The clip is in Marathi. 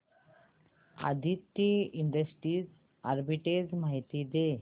आदित्रि इंडस्ट्रीज आर्बिट्रेज माहिती दे